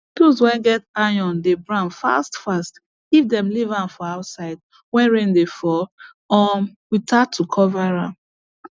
tools way get iron dey brown fast fast if dem leave am for outside when rain dey fall um without to cover am